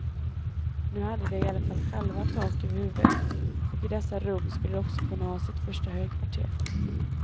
Nu hade de i alla fall själva tak över huvudet, och i dessa rum skulle de också kunna ha sitt första högkvarter.